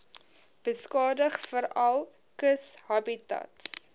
beskadig veral kushabitats